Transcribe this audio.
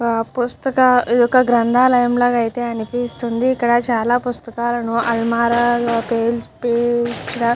పుస్తకాలు - ఇది ఒక గ్రంథాలయం లాగా అయితే అనిపిస్తుంది. ఇక్కడ చాలా పుస్తకాలు అలమారాలో పేర్చిన --